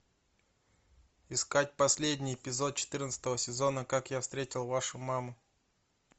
искать последний эпизод четырнадцатого сезона как я встретил вашу маму